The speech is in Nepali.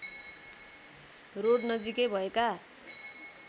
रोड नजिकै भएका